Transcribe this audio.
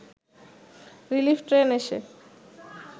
relief train এসে